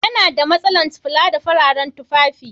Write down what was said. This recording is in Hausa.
Yana da masalan kula da fararen tufafi